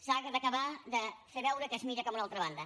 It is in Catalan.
s’ha d’acabar de fer veure que es mira cap a una altra banda